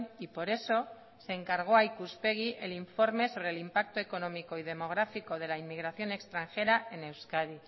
y por eso se encargó a ikuspegi el informe sobre el impacto económico y demográfico de la inmigración extranjera en euskadi